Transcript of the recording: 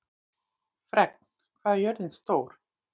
Fregn, hvað er jörðin stór?